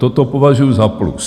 Toto považuju za plus.